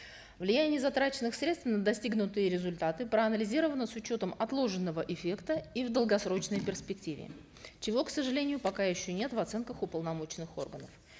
влияние затраченных средств на достигнутые результаты проанализированы с учетом отложенного эффекта и в долгосрочной перспективе чего к сожалению пока еще нет в оценках уполномоченных органов